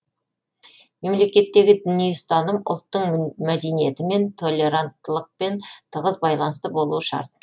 мемлекеттегі діни ұстаным ұлттың мәдениетімен толеранттылықпен тығыз байланысты болуы шарт